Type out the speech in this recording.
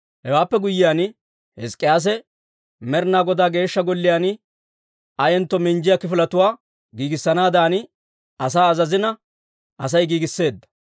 Hewaappe guyyiyaan, Hizk'k'iyaase Med'inaa Godaa Geeshsha Golliyaan ayentto minjjiyaa kifiletuwaa giigissanaadan asaa azazina Asay giigisseedda.